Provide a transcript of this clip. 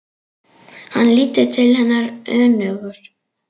Hann lítur til hennar önugur.